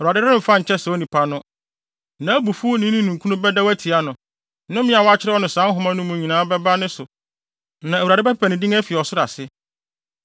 Awurade remfa nkyɛ saa onipa no. Nʼabufuw ne ne ninkunu bɛdɛw atia no. Nnome a wɔakyerɛw no saa nhoma yi mu no nyinaa bɛba ne so na Awurade bɛpepa ne din afi ɔsoro ase.